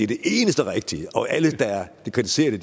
det eneste rigtige og alle der kritiserer det